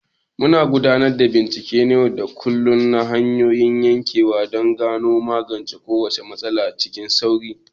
Muna gudanar da bincike na yau da kullum na hanyoyin yanka don ganowa da magance kowace matsala cikin sauri.